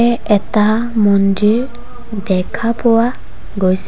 এটা মন্দিৰ দেখা পোৱা গৈছে।